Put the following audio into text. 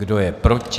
Kdo je proti?